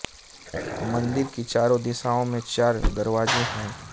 मंदिर की चारों दिशाओं में चार दरवाजे हैं